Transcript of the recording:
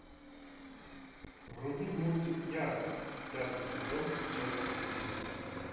вруби мультик яркость пятый сезон часть одиннадцать